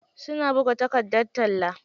Suna buga takardar talla.